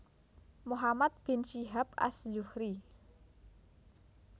Muhammad bin Syihab Az Zuhriy